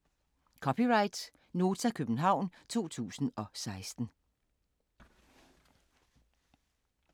(c) Nota, København 2016